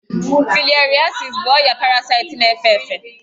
Filariasis bụ ọrịa parasaịtị na-efe efe